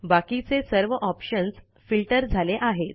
बाकीचे सर्व options filter झाले आहेत